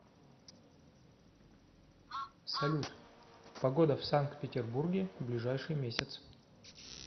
салют погода в санкт петербурге в ближайший месяц